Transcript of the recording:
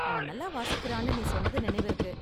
அவன் நல்ல வாசிக்கறான்னு நீ சொன்னது நினைவிருக்கு.